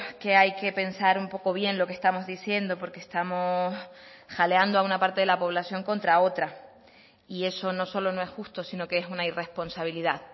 que hay que pensar un poco bien lo que estamos diciendo porque estamos jaleando a una parte de la población contra otra y eso no solo no es justo sino que es una irresponsabilidad